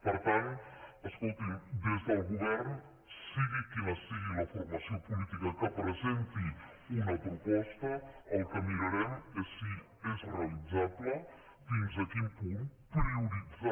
per tant escolti’m des del govern sigui quina sigui la formació política que presenti una proposta el que mirarem és si és realitzable fins a quin punt prioritzant